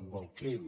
amb el crim